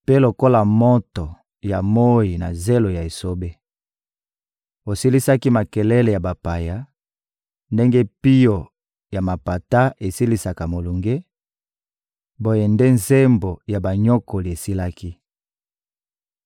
mpe lokola moto ya moyi na zelo ya esobe. Osilisaki makelele ya bapaya ndenge pio ya mapata esilisaka molunge; boye nde nzembo ya banyokoli esilaki.